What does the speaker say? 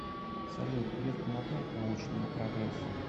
салют греф помогает научному прогрессу